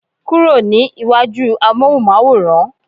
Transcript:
kúrò ní iwaju amohunmaworan